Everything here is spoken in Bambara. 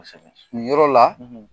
Kosɛbɛ, nin ɔrɔ la, .